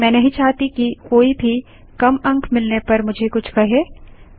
मैं नहीं चाहती कि कोई भी कम अंक मिलने पर मुझे कुछ कहे